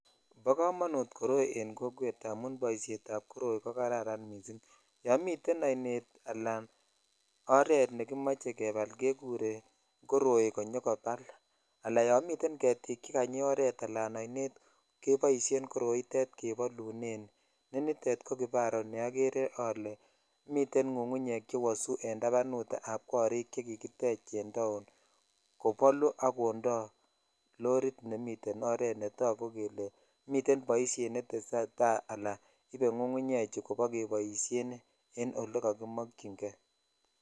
Po komonut koroi eng kokwet amun boishet ab koroi kokararan mising yo miten oinet anan oret nekimochei kepal kekurei koroi konyikopal anan yo mitei ketik chekanyi oret anan oinet keboishen koroitet kepolune nenitet ko kifaru niagere ale mitei ngungunyek chewosu eng tabanutab korik chekikitech eng taoni kopolu akondoi lorit nemiten oret netokun kele miten boishet netesei tai anan ibei ngungunyechu kobakeboishen eng olekakimokchingei